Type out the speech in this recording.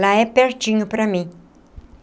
Lá é pertinho para mim.